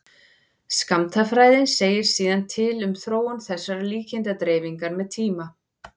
skammtafræðin segir síðan til um þróun þessarar líkindadreifingar með tíma